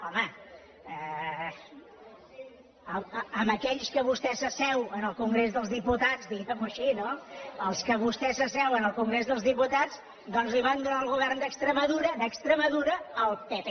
home amb aquells amb qui vostè s’asseu al congrés dels diputats diguem ho així no amb els quals vostès s’asseuen al congrés dels diputats doncs li van donar el govern d’extremadura d’extremadura al pp